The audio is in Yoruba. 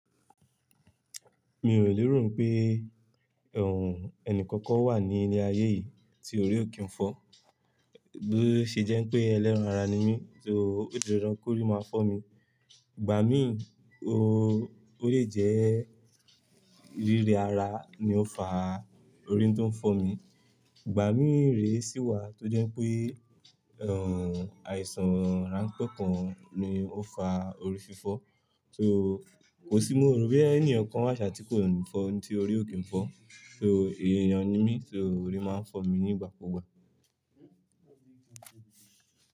Mi ò lérò n pé, ọ̀ọ̀, ẹnì kankan wà ní ilé ayé yìí tí orí ò kí n fọ́. Bí ó ṣe jẹ́ pé ẹlẹ́ran ara ni mí, so ó di dandan kori máa fọ́ mi. Ìgbà mí ò, ó lè jẹ́, rírẹ́ ara ni ó fa orí tó ń fọ́ mi. Ìgbà mí re sì wà tó jẹ́ pé, ọ̀ọ̀, àìsàn ránpẹ́ kan ni ó fa orí fifọ́, so kò sí mó ro boya ẹni kankan wà ṣá tí kò n fọ́ tí orí ò kí n fọ́. So èèyàn ni mí, so orí máa ń fọ́ mi nígbà kúgbà.